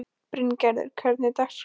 Bryngerður, hvernig er dagskráin?